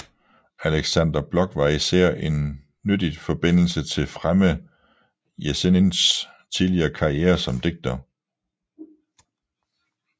Aleksandr Blok var især en nyttigt forbindelse til fremme Jesenins tidlige karriere som digter